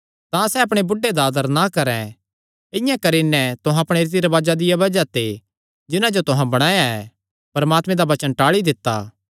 तां सैह़ अपणे बुढ़े दा आदर ना करैं इआं करी नैं तुहां अपणे रीति रिवाजां दिया बज़ाह ते जिन्हां जो तुहां बणाया ऐ परमात्मे दा वचन टाल़ी दित्ता